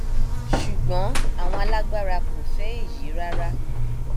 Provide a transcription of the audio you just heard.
ṣùgbọn àwọn alágbára kò fẹ èyí rárá